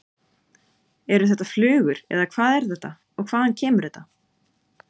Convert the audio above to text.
Eru þetta flugur eða hvað er þetta og hvaðan kemur þetta?